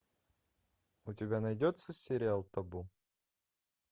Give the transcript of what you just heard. у тебя найдется сериал табу